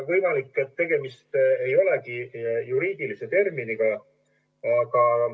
Võimalik, et tegemist ei olegi juriidilise terminiga.